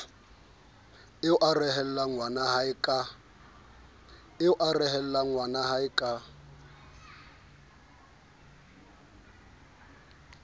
eo a rehellang ngwanahae ka